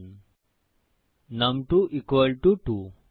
নুম2 2